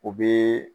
O be